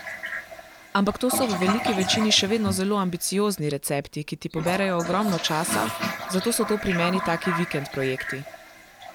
Ampak to so v veliki večini še vedno zelo ambiciozni recepti, ki ti poberejo ogromno časa, zato so to pri meni taki vikend projekti.